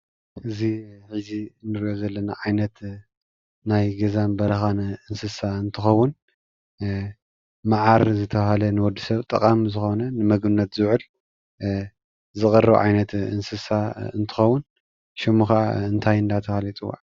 እዚ እንሪኦ ዘለና ዓይነት ናይ ገዛን በረኻን እንስሳ እንትኸውን መዓር ዝተባሃለ ንወዲ ሰብ ጠቓሚ ዝኾነ ንምግብነት ዝውዕል ዝቐርብ ዓይነት እንስሳ እንትኸውን ሹሙ ከዓ እንታይ እናተባሃለ ይፅዋዕ?